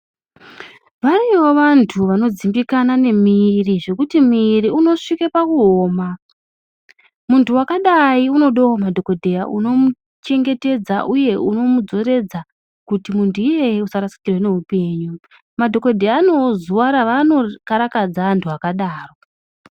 Variyo vantu vanodzimbikana nemiri zvekuti miri unosvike pakuoma. Muntu vakadai unodewo madhokodheya unomuchengetedza, uye unomudzoreredza kuti muntu iyeye asarasikirwe ndeupenyu. Madhokodheya anovo zuwa raanokarakadza vantu vakadaro.